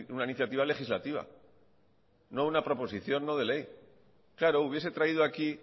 una iniciativa legislativa no una proposición no de ley claro hubiese traído aquí